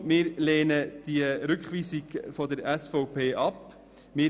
Kurzum, wir lehnen den Rückweisungsantrag der SVP ab.